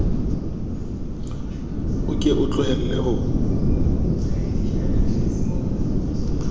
o ke o tlohelle ho